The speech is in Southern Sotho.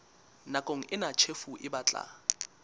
nakong ena tjhefo e batla